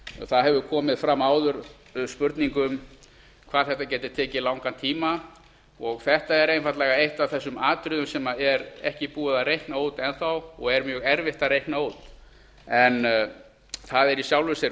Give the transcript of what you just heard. það hefur komið fram áður spurning um hvað þetta geti tekið langan tíma og þetta er einfaldlega eitt af þessum atriðum sem er ekki búið að reikna út enn þá og er mjög erfitt að reikna út það er í sjálfu sér